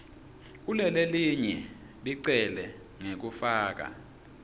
kulelelinye licele ngekufaka